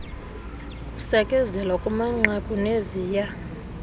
kusekezelwa kumanqaku neziya